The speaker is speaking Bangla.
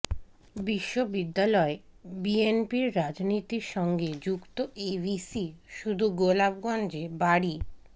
বিশ্ববিদ্যালয়ে বিএনপির রাজনীতির সঙ্গে যুক্ত এই ভিসি শুধু গোপালগঞ্জে বাড়ি